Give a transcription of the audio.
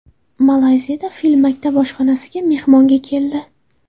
Malayziyada fil maktab oshxonasiga mehmonga keldi .